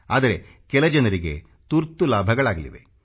ಆದರೆ ಕೆಲ ಜನರಿಗೆ ತುರ್ತು ಲಾಭಗಳಾಗಿವೆ